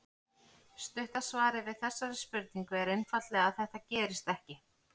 Stutta svarið við þessari spurningu er einfaldlega að þetta gerist ekki.